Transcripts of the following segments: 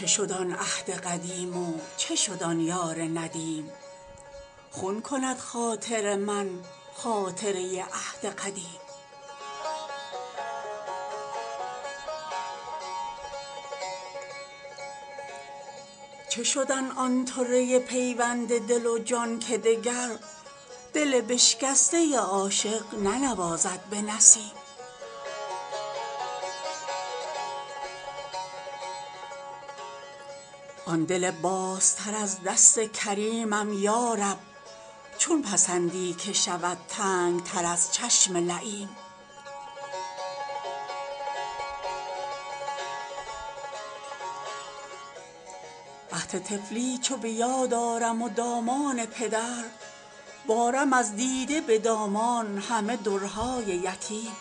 چه شد آن عهد قدیم و چه شد آن یار ندیم خون کند خاطر من خاطره عهد قدیم چه شد آن طره پیوند دل و جان که دگر دل بشکسته عاشق ننوازد به نسیم آن دل بازتر از دست کریمم یارب چون پسندی که شود تنگتر از چشم لییم عهد طفلی چو بیاد آرم و دامان پدر بارم از دیده به دامان همه درهای یتیم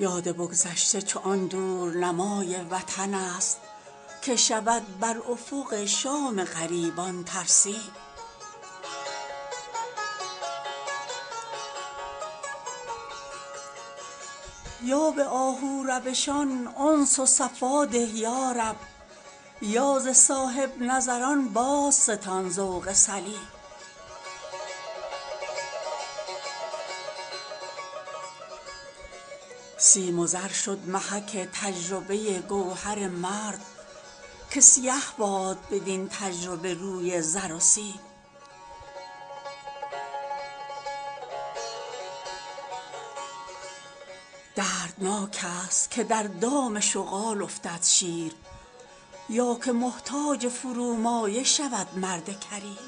یاد بگذشته چو آن دور نمای وطن است که شود برافق شام غریبان ترسیم یا به آهو روشان انس وصفا ده یارب یا ز صاحبنظران بازستان ذوق سلیم سیم و زر شد محک تجربه گوهر مرد که سیه باد بدین تجربه روی زر و سیم دردناک است که در دام شغال افتد شیر یا که محتاج فرومایه شود مرد کریم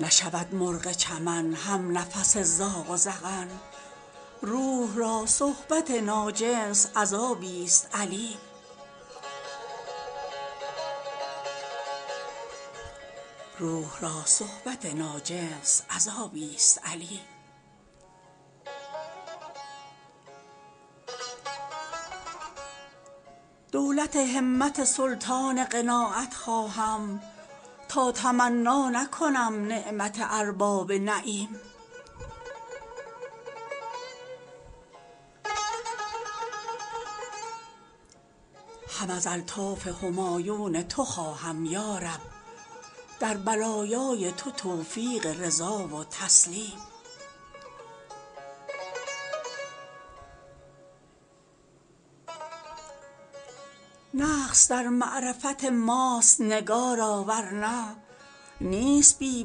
نشود مرغ چمن همنفس زاغ و زغن “روح را صحبت ناجنس عذابیست الیم” دولت همت سلطان قناعت خواهم تا تمنا نکنم نعمت ارباب نعیم هم از الطاف همایون تو خواهم یارب در بلایای تو توفیق رضا و تسلیم نقص در معرفت ماست نگارا ور نه نیست بی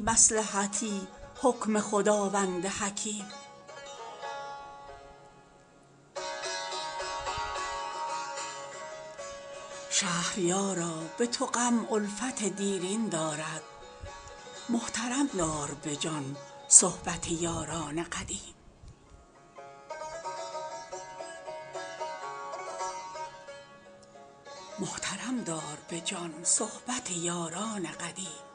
مصلحتی حکم خداوند حکیم شهریارا به تو غم الفت دیرین دارد محترم دار به جان صحبت یاران قدیم